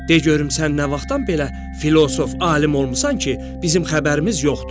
De görüm sən nə vaxtdan belə filosof, alim olmusan ki, bizim xəbərimiz yoxdur.